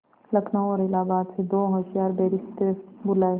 लखनऊ और इलाहाबाद से दो होशियार बैरिस्टिर बुलाये